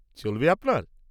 -চলবে আপনার?